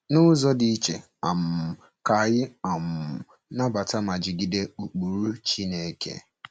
N’ụzọ dị iche, um ka anyị um nabata ma jigide ụkpụrụ Chineke.